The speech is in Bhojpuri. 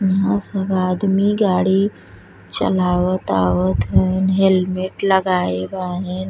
वहाँँ सब आदमी गाड़ी चलावत आवत हैंन हेलमेट लगाये बाने।